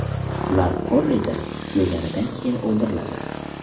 Ular korrida tugaganidan keyin o‘ldiriladi.